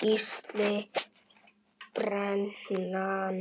Gísli:. brennan